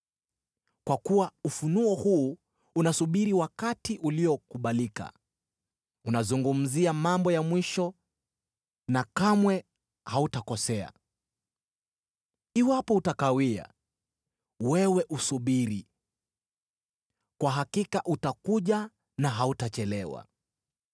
Kwa kuwa ufunuo huu unasubiri wakati uliokubalika; unazungumzia mambo ya mwisho, na kamwe hautakosea. Iwapo utakawia, wewe usubiri; kwa hakika utakuja na hautachelewa.